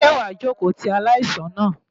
Ṣé wàá jókòó ti aláìsàn náà?